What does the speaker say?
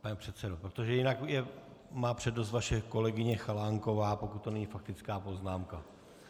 Pane předsedo, protože jinak má přednost vaše kolegyně Chalánková, pokud to není faktická poznámka.